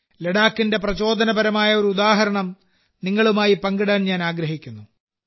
ലഡാക്കിന്റെ പ്രചോദനപരമായ ഒരു ഉദാഹരണം നിങ്ങളുമായി പങ്കിടാൻ ഞാൻ ആഗ്രഹിക്കുന്നു